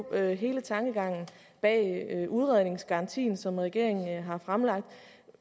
er jo hele tankegangen bag udredningsgarantien som regeringen har fremsat